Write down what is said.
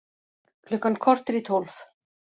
Klukkan korter í tólf